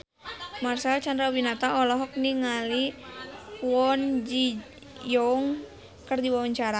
Marcel Chandrawinata olohok ningali Kwon Ji Yong keur diwawancara